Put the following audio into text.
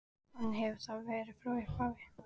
Þannig hefur það verið frá upphafi.